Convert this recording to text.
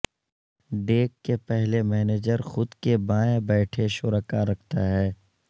deck کے پہلے manager خود کے بائیں بیٹھے شرکاء رکھتا ہے